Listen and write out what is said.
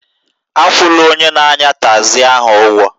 Akwụla onye na-anya tagzi ahụ ụgwọ